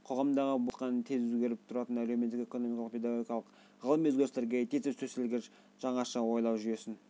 қоғамдағы болып жатқан тез өзгеріп тұратын әлеуметтік экономикалық педагогикалық ғылыми өзгерістерге тез төселгіш жаңаша ойлау жүйесін